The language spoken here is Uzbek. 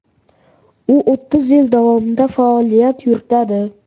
U o‘ttiz yil davomida faoliyat yuritadi.